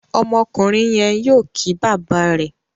Ọmọkùnrin yén yóò kí bàbá rẹ.